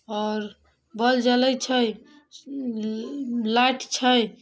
और बोल जलय छै लाइट छै।